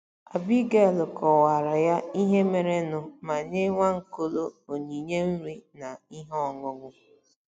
Abigail kọwaara ya ihe merenụ ma nye Nwaokolo onyinye nri na ihe ọṅụṅụ.